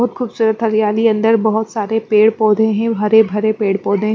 बहुत खूबसूरत हरियाली है अंदर बहुत सारे पेड़ पौधे हैं हरे भरे पेड़ पौधे --